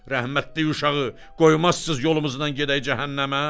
Rəhmətlik uşağı qoymazsız yolumuzdan gedək cəhənnəmə?